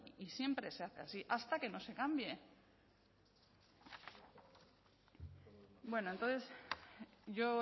y siempre se hace así hasta que no se cambie bueno entonces yo